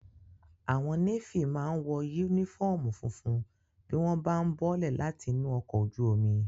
Àwọn Nééfì máa n wọ yúnífọ́ọ̀mù funfun bí wọ́n bá ún bọ́lẹ̀ láti inú ọkọ̀ ojú omi